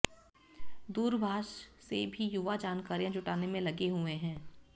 दूरभाष से भी युवा जानकारियां जुटाने में लगे हुए हैं